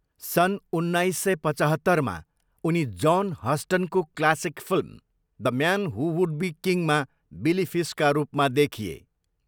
सन् उन्नाइस सय पचहत्तरमा, उनी जोन हस्टनको classic film, the man who would be किङमा बिली फिसका रूपमा देखिए।